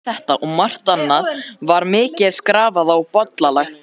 Um þetta og margt annað var mikið skrafað og bollalagt.